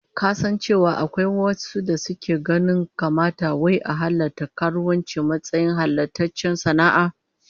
Ka san cewa akwai wasu dake ganin ya kamata wai a halatta karuwanci a matsayin halattaccen sana'a?